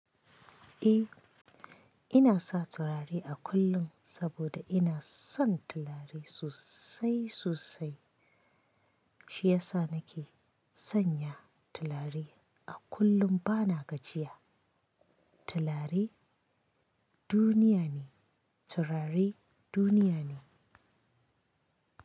Eh, ina sa turare a kullum saboda ina son turare sosai sosai. Shi ya sa nake sanya tulare a kullum bana gajiya. Turare duniya ne, turare duniya ne.